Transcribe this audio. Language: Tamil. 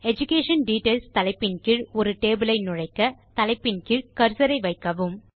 எடுகேஷன் டிட்டெயில்ஸ் தலைப்பின் கீழ் ஒரு டேபிள் ஐ நுழைக்க தலைப்பின் கீழ் கர்சர் ஐ வைக்கவும்